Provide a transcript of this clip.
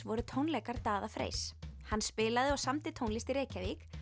voru tónleikar Daða Freys hann spilaði og samdi tónlist í Reykjavík